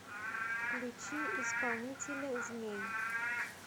включи исполнителя змей